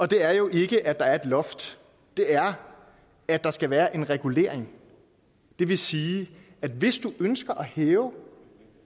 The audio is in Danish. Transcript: det er jo ikke at der er et loft det er at der skal være en regulering det vil sige at hvis du som ønsker at hæve